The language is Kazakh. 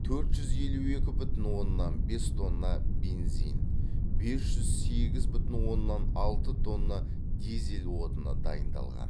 төрт жүз елу екі бүтін оннан бес тонна бензин бес жүз сегіз бүтін оннан алты тонна дизель отыны дайындалған